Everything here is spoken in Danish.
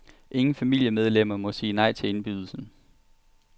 Ingen familiemedlemmer må sige nej til indbydelsen.